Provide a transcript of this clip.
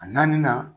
A naani na